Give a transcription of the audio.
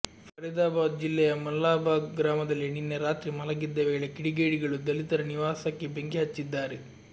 ಫರಿದಾಬಾದ್ ಜಿಲ್ಲೆಯ ಮಲ್ಲಾಭಾಗ್ ಗ್ರಾಮದಲ್ಲಿ ನಿನ್ನೆ ರಾತ್ರಿ ಮಲಗಿದ್ದ ವೇಳೆ ಕಿಡಿಗೇಡಿಗಳು ದಲಿತರ ನಿವಾಸಕ್ಕೆ ಬೆಂಕಿ ಹಚ್ಚಿದ್ದಾರೆ